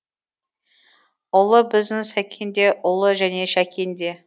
ұлы біздің сәкен де ұлы және шәкен де